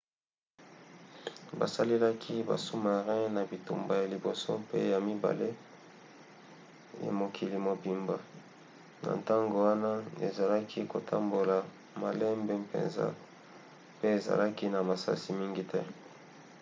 basalelaki basous-marins na bitumba ya liboso pe ya mibale ye mokili mobimba. na ntango wana ezalaki kotambola malembe mpenza pe ezalaki na masasi mingi te